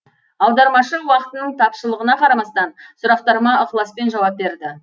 аудармашы уақытының тапшылығына қарамастан сұрақтарыма ықыласпен жауап берді